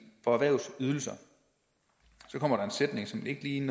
for erhvervets ydelser så kommer der en sætning som ikke lige